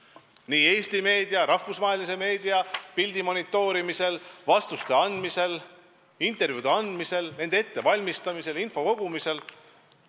Tegeleb nii Eesti meediapildi kui rahvusvahelise meediapildi monitoorimisega, vastuste andmisega, intervjuude andmisega, nende ettevalmistamise ja info kogumisega.